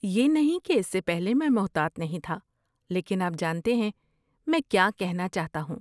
یہ نہیں کہ اس سے پہلے میں محتاط نہیں تھا لیکن آپ جانتے ہیں میں کیا کہنا چاہتا ہوں۔